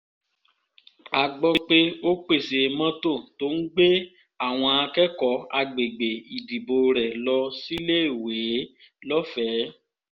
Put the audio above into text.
a gbọ́ pé ó pèsè mọ́tò tó ń gbé àwọn akẹ́kọ̀ọ́ àgbègbè ìdìbò rẹ̀ lọ síléèwé lọ́fẹ̀ẹ́